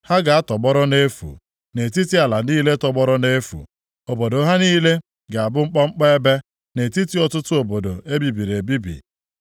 Ha ga-atọgbọrọ nʼefu, nʼetiti ala niile tọgbọrọ nʼefu. Obodo ha niile ga-abụ mkpọmkpọ ebe, nʼetiti ọtụtụ obodo e bibiri ebibi.